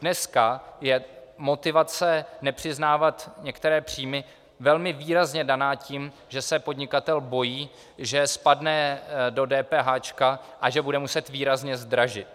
Dneska je motivace nepřiznávat některé příjmy velmi výrazně daná tím, že se podnikatel bojí, že spadne do DPH a že bude muset výrazně zdražit.